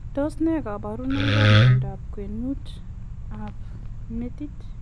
Tos ne kabarunoik ap miondop kwenuut ap metit?